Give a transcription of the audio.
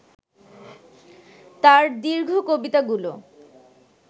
তার দীর্ঘ কবিতাগুলো